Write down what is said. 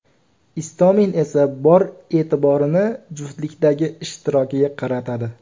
Istomin esa bor e’tiborini juftlikdagi ishtirokiga qaratadi.